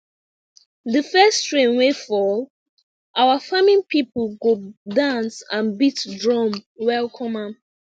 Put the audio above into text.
the first rain wey fall our farming people go dance and beat drum welcome am